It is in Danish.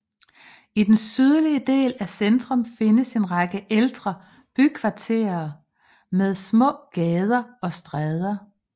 I den sydlige del af centrum findes en række ældre bykvarterer med små gader og stræder